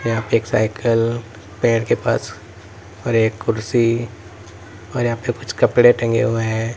यहां पे एक साइकल पेड़ के पास और एक कुर्सी और यहां पे कुछ कपड़े टंगे हुए हैं।